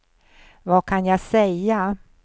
vad kan jag säga